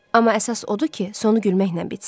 Amma əsas odur ki, sonu gülməklə bitsin.